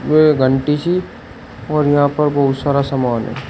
वे घंटी सी और यहां पर बहुत सारा सामान है।